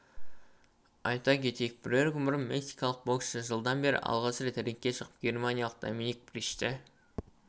айта кетейік бірер күн бұрын мексикалық боксшы жылдан бері алғаш рет рингке шығып германиялық доминик бричті